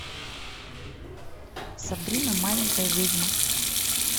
сабрина маленькая ведьма